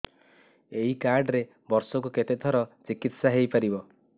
ଏଇ କାର୍ଡ ରେ ବର୍ଷକୁ କେତେ ଥର ଚିକିତ୍ସା ହେଇପାରିବ